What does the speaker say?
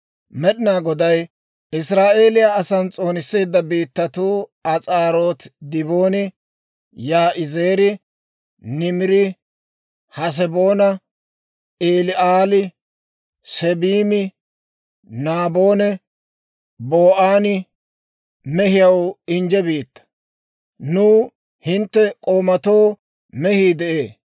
«Med'inaa Goday Israa'eeliyaa asan s'oonisseedda biittatuu, As'aarooti, Dibooni, Yaa'izeeri, Niimiri, Haseboona, Eli'aali, Seebimi, Naabonne Ba'ooni mehiyaw injje biittaa; nuw hintte k'oomatoo mehii de'ee.